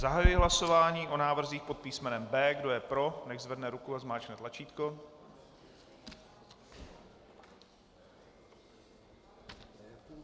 Zahajuji hlasování o návrzích pod písmenem B. Kdo je pro, nechť zvedne ruku a zmáčkne tlačítko.